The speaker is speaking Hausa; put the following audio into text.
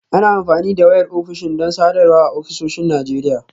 Ana amfani da wayar ofishin don sadarwa a ofisoshin Najeriya